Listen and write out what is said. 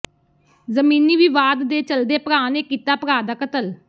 ਜ਼ਮੀਨੀ ਵਿਵਾਦ ਦੇ ਚੱਲਦੇ ਭਰਾ ਨੇ ਕੀਤਾ ਭਰਾ ਦਾ ਕਤਲ